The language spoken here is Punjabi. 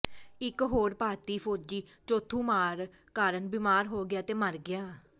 ਇੱਕ ਹੋਰ ਭਾਰਤੀ ਫੌਜੀ ਚੌਥੂ ਮਾਰ ਕਾਰਨ ਬਿਮਾਰ ਹੋ ਗਿਆ ਤੇ ਮਰ ਗਿਆ